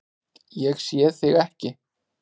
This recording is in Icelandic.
Ég sé þig ekki.